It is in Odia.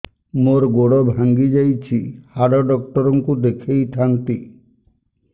ମୋର ଗୋଡ ଭାଙ୍ଗି ଯାଇଛି ହାଡ ଡକ୍ଟର ଙ୍କୁ ଦେଖେଇ ଥାନ୍ତି